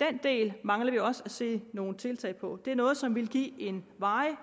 den del mangler vi også at se nogle tiltag på det er noget som vil give en varig